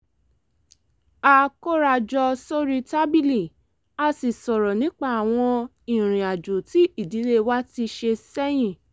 a kóra jọ sórí tábìlì a sì sọ̀rọ̀ nípa àwọn ìrìn àjò tí ìdílé wa ti ṣe sẹ́yìn